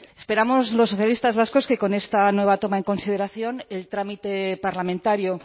esperamos los socialistas vascos que con esta nueva toma en consideración el trámite parlamentario